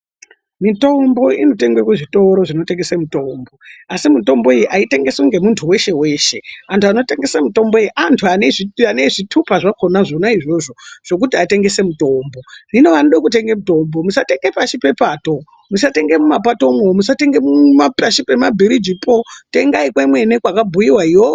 Mitombo initengwe kuzvitoro zvinotengeswe mitombo asi mitombo iyi aiyengeswi nemuntu weshe weshe antu anotengese mitombo iyi antu ane zvitupa zvakona izvozvo zvekuti atengese mitombo, hino anoda kutenga mitombo musatenge pashi pepato , musatenge mumapato umwo musatenge pashi pema bhuriji po tengai kwakabhuyiwa Kona iyoyo.